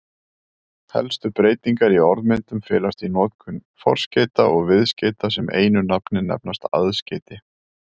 Helstu breytingar í orðmyndun felast í notkun forskeyta og viðskeyta sem einu nafni nefnast aðskeyti.